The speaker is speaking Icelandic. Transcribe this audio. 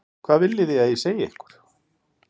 Hvað viljið þið að ég segi ykkur?